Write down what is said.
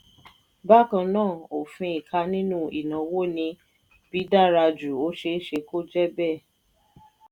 bákan náà òfin ìka nínú ìnáwó ni bí dára jù ó ṣeé ṣe kó jẹ́ bẹ́ẹ̀.